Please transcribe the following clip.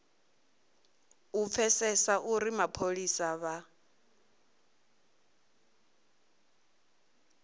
u pfesesa uri mapholisa vha